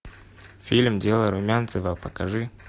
фильм дело румянцева покажи